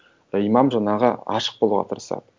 имам жаңағы ашық болуға тырысады